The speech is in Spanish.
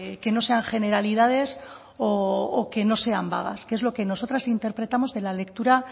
que no sean generalidades o que no sean vagas que es lo que nosotras interpretamos de la lectura